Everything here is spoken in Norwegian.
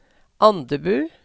Andebu